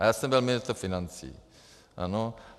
A já jsem byl ministr financí, ano.